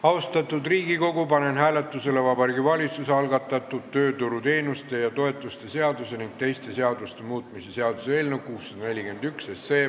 Austatud Riigikogu, panen hääletusele Vabariigi Valitsuse algatatud tööturuteenuste ja -toetuste seaduse ning teiste seaduste muutmise seaduse eelnõu 641.